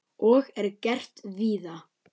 Og er gert víða.